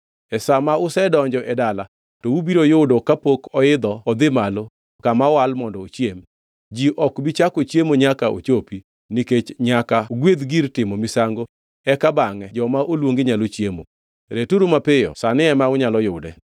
E sa ma usedonjo e dala to ubiro yudo kapok oidho odhi malo kama owal mondo ochiem. Ji ok bi chako chiemo nyaka ochopi, nikech nyaka ogwedh gir timo misango eka bangʼe jomo oluongi nyalo chiemo. Returu mapiyo sani ema unyalo yude.